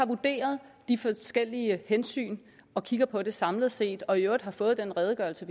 vurderer de forskellige hensyn og kigger på det samlet set og i øvrigt har fået den redegørelse